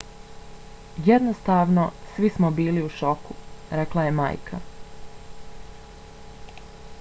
jednostavno svi smo bili u šoku, rekla je majka